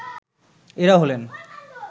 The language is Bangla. এরা হলেন